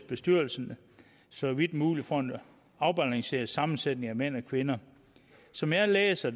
bestyrelsen så vidt muligt får en afbalanceret sammensætning af mænd og kvinder som jeg læser